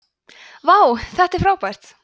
vá þetta er frábært